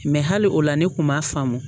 Mɛ hali o la ne tun b'a faamu